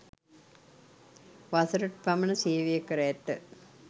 වසරක පමණ සේවය කර ඇත